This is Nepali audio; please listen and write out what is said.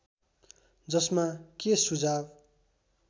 जसमा के सुझाव